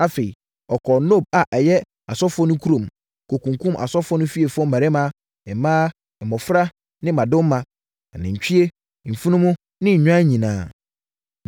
Afei, ɔkɔɔ Nob a ɛyɛ asɔfoɔ no kurom, kɔkunkumm asɔfoɔ no fiefoɔ mmarima, mmaa, mmɔfra ne mmadoma, anantwie, mfunumu ne nnwan nyinaa.